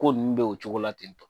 Ko nu o cogo la tentɔ